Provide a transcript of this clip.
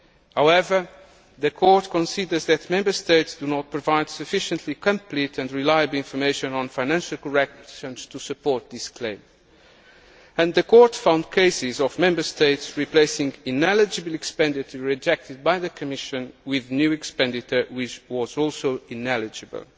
However, the Court considers that Member States do not provide sufficiently complete and reliable information on financial corrections to support this claim. And the Court found cases of Member States replacing ineligible expenditure rejected by the Commission with new expenditure which was also ineligible.